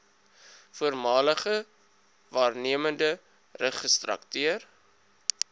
voormalige waarnemende registrateur